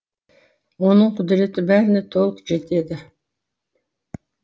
оның құдіреті бәріне толық жетеді